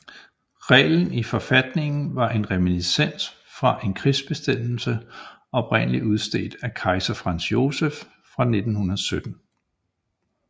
Reglen i forfatningen var en reminiscens fra en krigsbestemmelse oprindelig udstedt af kejser Franz Joseph fra 1917